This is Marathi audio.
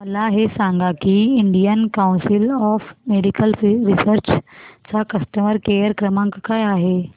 मला हे सांग की Indian Council of Medical Research चा कस्टमर केअर क्रमांक काय आहे